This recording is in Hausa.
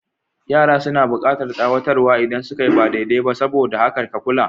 Yara suna bukatar tsawatar wa idan suka yi ba daidai ba, saboda haka ka kula.